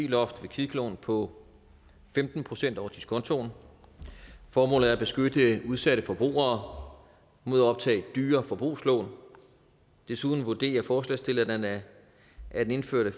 loft ved kviklån på femten procent over diskontoen formålet er at beskytte udsatte forbrugere mod at optage dyre forbrugslån desuden vurderer forslagsstillerne at den indførte